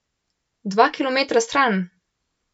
Dva kilometra stran?